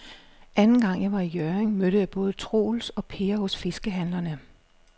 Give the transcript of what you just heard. Anden gang jeg var i Hjørring, mødte jeg både Troels og Per hos fiskehandlerne.